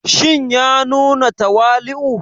Shin ya nuna tawali'u?